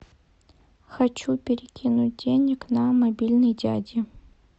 хочу перекинуть денег на мобильный дяди